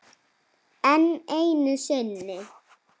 Enn einu sinni.